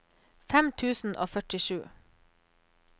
fem tusen og førtisju